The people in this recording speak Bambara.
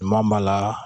Maa min b'a la